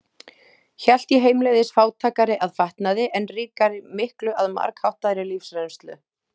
Hélt ég heimleiðis fátækari að fatnaði, en ríkari miklu að margháttaðri lífsreynslu.